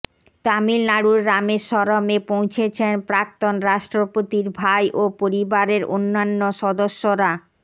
তামিলনাড়ুর রামেশ্বরমে পৌঁছেছেন প্রাক্তন রাষ্ট্রপতির ভাই ও পরিবারের অন্যান্য সদস্যরা